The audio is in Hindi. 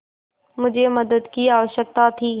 मुझे मदद की आवश्यकता थी